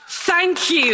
Thank you.